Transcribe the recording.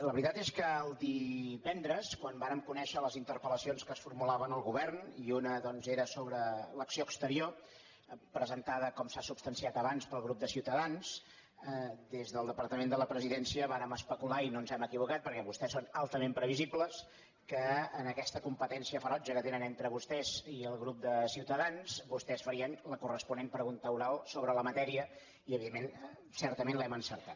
la veritat és que el divendres quan vàrem conèixer les interpel·doncs era sobre l’acció exterior presentada com s’ha substanciat abans pel grup de ciutadans des del departament de la presidència vàrem especular i no ens hem equivocat perquè vostès són altament previsibles que en aquesta competència ferotge que tenen entre vostès i el grup de ciutadans vostès farien la corresponent pregunta oral sobre la matèria i evidentment certament l’hem encertat